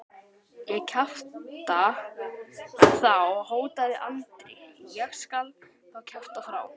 Ég kjafta þá, hótaði Andri, ég skal þá kjafta frá.